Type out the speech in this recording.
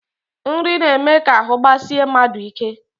Nri na-eme ka ahụ gbasie mmadụ ike